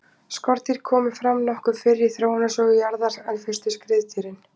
skordýr komu fram nokkuð fyrr í þróunarsögu jarðar en fyrstu skriðdýrin